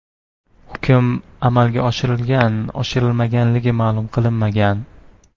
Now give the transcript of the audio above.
Hukm amalga oshirilgan-oshirilmaganligi ma’lum qilinmagan.